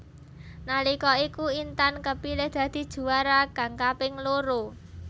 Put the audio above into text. Nalika iku Intan kepilih dadi juwara kang kaping loro